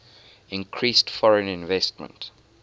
increased foreign investment